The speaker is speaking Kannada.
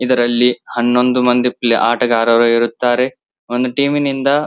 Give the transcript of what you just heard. ಇದರಲ್ಲಿ ಹನ್ನೊಂದು ಮಂದಿ ಪ್ಲೆ ಆಟಗಾರರು ಇರುತ್ತಾರೆ. ಒಂದು ಟೀಮ್ ನಿಂದ --